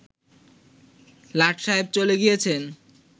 লাট সায়েব চলে গিয়েছেন